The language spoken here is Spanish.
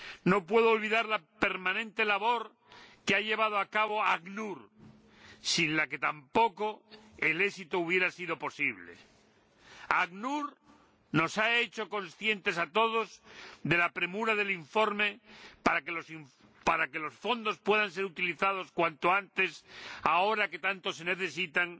No puedo olvidar la permanente labor que ha llevado a cabo el ACNUR, sin la que tampoco el éxito habría sido posible. El ACNUR nos ha hecho conscientes a todos de la premura del informe, por encima de disquisiciones jurídicas, para que los fondos puedan ser utilizados cuanto antes, ahora que tanto se necesitan.